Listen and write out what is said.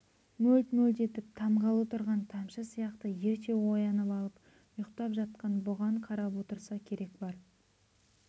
мөлт-мөлт етіп тамғалы тұрған тамшы сияқты ерте оянып алып ұйықтап жатқан бұған қарап отырса керек бар